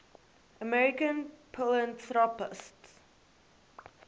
american philanthropists